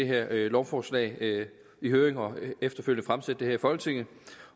her lovforslag i høring og efterfølgende fremsætte i folketinget